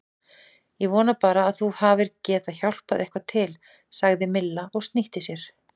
Ég vona bara að þú hafir getað hjálpað eitthvað til sagði Milla og snýtti sér.